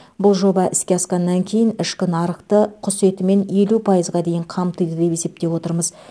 бұл жоба іске асқаннан кейін ішкі нарықты құс етімен елу пайызға дейін қамтиды деп есептеп отырмыз